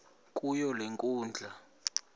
kuyo le nkundla